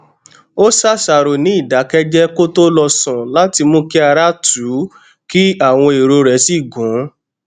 ó ṣàṣàrò ní ìdákéjéé kó tó lọ sùn láti mú kí ara tù ú kí àwọn èrò rè sì gún